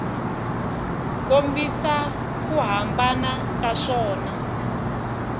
kombisa ku hambana ka swona